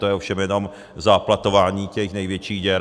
To je ovšem jenom záplatování těch největších děr.